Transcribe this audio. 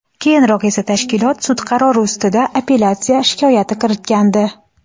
Keyinroq esa tashkilot sud qarori ustida apellyatsiya shikoyati kiritgandi.